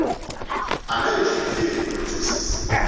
american film producers